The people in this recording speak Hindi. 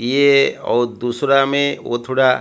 ये और दूसरा मे ओ थोड़ा--